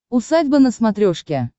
усадьба на смотрешке